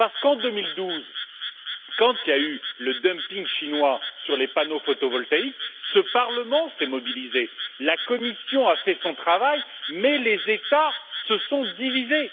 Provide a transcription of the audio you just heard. Parce qu'en 2012, quand il y a eu le dumping chinois sur les panneaux photovoltaïques, ce Parlement s'est mobilisé, la Commission a fait son travail, mais les États se sont divisés.